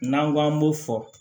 N'an ko k'an b'o fɔ